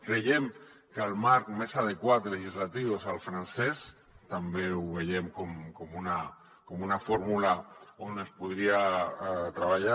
creiem que el marc més adequat legislatiu és el francès també ho veiem com una fórmula on es podria treballar